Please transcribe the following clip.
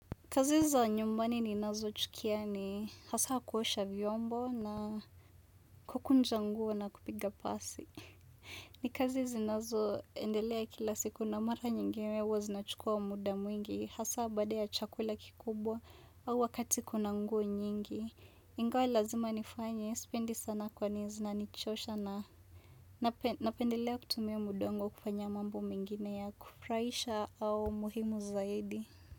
Kazi za nyumbani ninazo chukia ni hasa kuosha vyombo na kukunja nguo na kupiga pasi. Ni kazi zinazoendelea kila siku na mara nyingine huwa zinachukua muda mwingi hasa baada ya chakula kikubwa au wakati kuna nguo nyingi. Ingawa ni lazima nifanye, sipendi sana kwani zinanichosha na napendelea kutumia muda wangu wa kufanya mambo mengine ya kufurahisha au muhimu zaidi.